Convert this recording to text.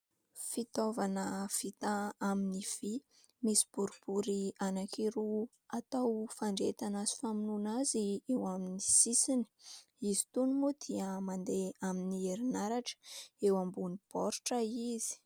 Fitaovana vita amin'ny vy, misy boribory anankiroa atao fandrehetana sy famonoana azy amin'ny sisiny. Izy itony moa dia mandeha amin'ny herinaratra. Eo ambony baoritra izy.